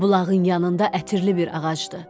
Bulağın yanında ətirli bir ağacdır.